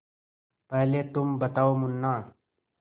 पहले तुम बताओ मुन्ना